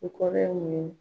U kɔrɔ ye mun ?